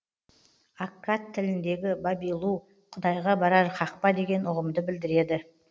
аккад тіліндегі бабилу құдайға барар қақпа деген ұғымды білдіреді